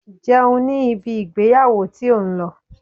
Jẹun ní ibi ìgbéyàwó tí ò ń lọ!